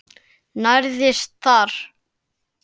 Nærðist þar.